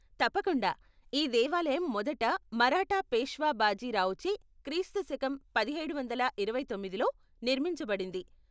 తప్పకుండా, ఈ దేవాలయం మొదటి మరాఠా పేష్వా బాజీ రావుచే క్రీశ పదిహేడు వందల ఇరవై తొమ్మిదిలో నిర్మించబడింది.